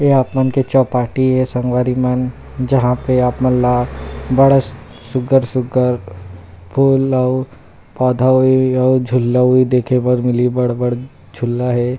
ये आप मन के चौपाटी हे संगवारी मन जहाँ पे आप मन ला बड़ा सुग्घर सुग्घर फूल अउ पौधा अउ झूला भी देखे बर मिलही बढ़ बढ़ झूला हे।